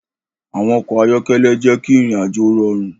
Awọn ọkọ ayọkẹlẹ jẹ ki irin-ajo rọrun